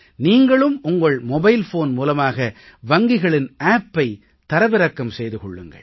நீங்களும் உங்கள் mobile phone மூலமாக வங்கிகளின் appஐ தரவிறக்கம் செய்து கொள்ளுங்கள்